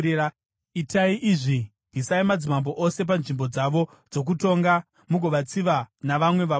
Itai izvi: Bvisai madzimambo ose panzvimbo dzavo dzokutonga mugovatsiva navamwe vabati.